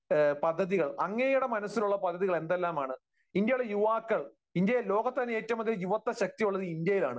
പദ്ധതികൾ? അങ്ങയുടെ മനസ്സിലുള്ള പദ്ധതികൾ എന്തെല്ലാമാണ്? ഇന്ത്യയിലെ യുവാക്കൾ, ഇന്ത്യയിൽ, ലോകത്തുതന്നെ ഏറ്റവുമധികം യുവത്വശക്തിയുള്ളത് ഇന്ത്യയിലാണ്.